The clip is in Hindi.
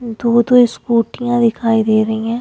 दो दो स्कूटियां दिखाई दे रही है।